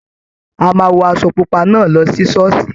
A máa wọ aṣọ pupa náà lọ sí ṣọ́ọ̀ṣì.